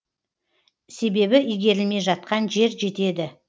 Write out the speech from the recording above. себебі игерілмей жатқан жер жетеді